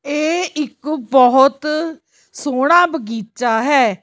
ਇਹ ਇੱਕ ਬਹੁਤ ਸੋਹਣਾ ਬਗੀਚਾ ਹੈ।